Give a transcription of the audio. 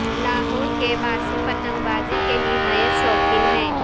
لاہور کے باسی پتنگ بازی کے نہایت شوقین ہیں